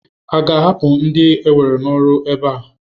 A ga-ahapụ ndia ewere n'ọrụ ebe a?